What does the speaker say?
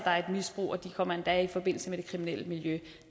misbrug og de kommer endda i forbindelse med det kriminelle miljø